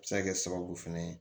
A bɛ se ka kɛ sababu fɛnɛ ye